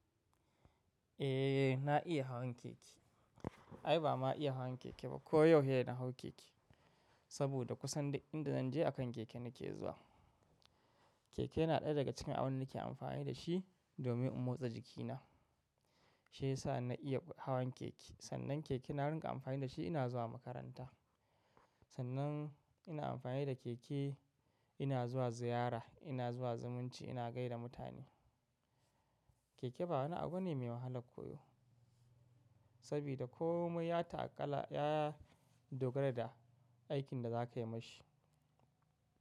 Eh na iya hawan keke. Ai ba ma iya hawan keke ba ko yau saida na hau keke. Saboda kusan duk inda zan je akan keke nake zuwa. Keke yana ɗaya daga cikin abin da nake amfani da shi domin in motsa jikina. Shi ya sa na iya hawan keke. Sannan keke na rinka amfani da shi ina zuwa makaranta. Sannan ina amfani da keke ina zuwa ziyara, ina zuwa zumunci, ina gaida mutane. Keke ba wani abu ne mai wahala koyo. Sabida komai ya taƙala, ya dogara da aikin da za ka yi ma shi.